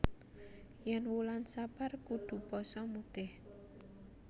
Yen wulan sapar kudu poso mutih